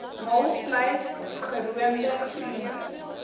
maalvleis geroomde groente